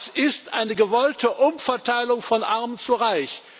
Das ist eine gewollte Umverteilung von Arm zu Reich.